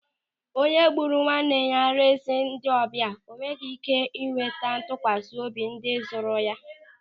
Onye kpụụrụ nwanne ya resị ndị ọbịa enweghị ị́ké ịnweta ntụkwasị obi ndị zụrụ ya.